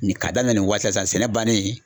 Nin k'a daminɛ nin waati la sisan sɛnɛ bannen